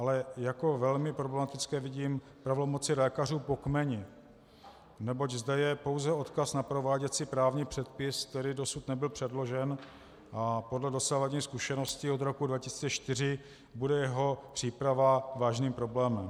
Ale jako velmi problematické vidím pravomoci lékařů po kmeni, neboť zde je pouze odkaz na prováděcí právní předpis, který dosud nebyl předložen, a podle dosavadních zkušeností od roku 2004 bude jeho příprava vážným problémem.